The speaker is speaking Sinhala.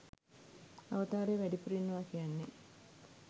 අවතාරය වැඩිපුර ඉන්නවා කියන්නේ.